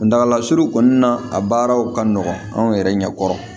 Kuntagala surun kɔni na a baaraw ka nɔgɔn anw yɛrɛ ɲɛkɔrɔ